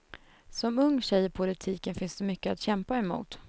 Som ung tjej i politiken finns det mycket att kämpa emot.